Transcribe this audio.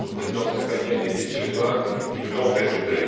Je pense aux Présidences espagnole et suédoise qui nous ont précédés.